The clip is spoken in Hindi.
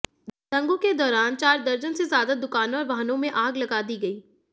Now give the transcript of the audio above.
दंगों के दौरान चार दर्जन से ज्यादा दुकानों और वाहनों में आग लगा दी गई